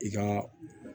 I ka